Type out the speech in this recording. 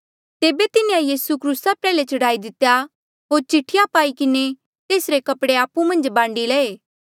तेबे तिन्हें यीसू क्रूसा प्रयाल्हे चढ़ाई दितेया होर चिट्ठिया पाई किन्हें तेसरे कपड़े आपु मन्झ बांडी लये